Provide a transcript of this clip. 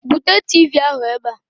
Bute Tiivii ahụ ebe a!